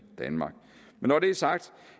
danmark men når det er sagt